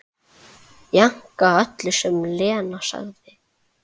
Jánkaði öllu sem Lena sagði.